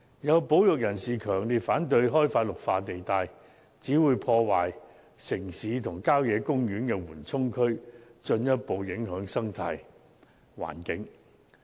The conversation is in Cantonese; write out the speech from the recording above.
有保育人士強烈反對開發綠化地帶，指會破壞城市和郊野公園的緩衝區，進一步影響生態環境。